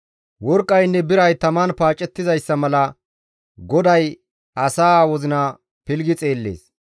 Worqqaynne biray taman paacettizayssa mala GODAY asaa wozina pilggi xeellees.